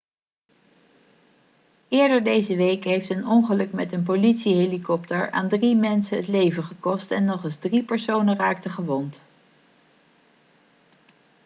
eerder deze week heeft een ongeluk met een politiehelikopter aan drie mensen het leven gekost en nog eens drie personen raakten gewond